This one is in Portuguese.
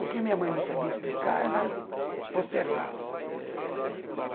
O que minha mãe não sabia explicar, ela postergava.